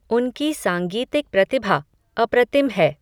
उनकी सांगीतिक प्रतिभा, अप्रतिम है